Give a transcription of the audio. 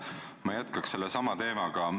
Ma jätkan sellesama teemaga.